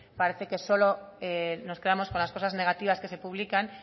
parece que solo nos quedamos con las cosas negativas que se publican